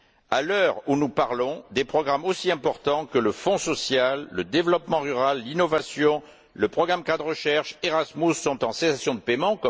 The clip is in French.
À l'heure où nous parlons, des programmes aussi importants que le Fonds social, le développement rural, l'innovation, le programme cadre recherche, Erasmus sont en cessation de paiement